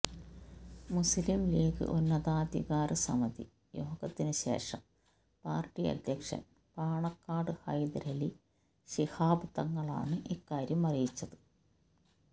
മുസ്ലിം ലീഗ് ഉന്നതാധികാര സമിതി യോഗത്തിനു ശേഷം പാര്ട്ടി അധ്യക്ഷന് പാണക്കാട് ഹൈദരലി ശിഹാബ് തങ്ങളാണ് ഇക്കാര്യം അറിയിച്ചത്